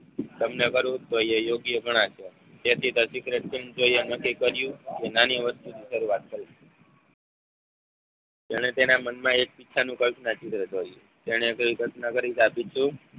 તમને કરવું તો એ યોગ્ય ગણાય તેથી નક્કી કર્યું કે નાની વસ્તુથી શરૂઆત કરીયે જેણે તેના મનમાં એક ઈચ્છાનું કલ્પના ચિત્ર દોર્યુ. તેને કઈ કલ્પના કરી તે આપી